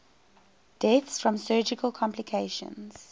deaths from surgical complications